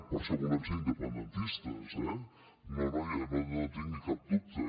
per això volem ser independentistes eh no en tingui cap dubte